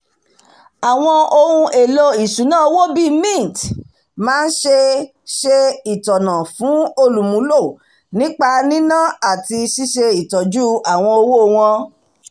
àwọn ohun-èlò ìṣúná owó bíi mint máa ń ṣe ṣe ìtọ́nà fún olùmúlò nípa níná àti ṣíṣé ìtọ́jú owó wọn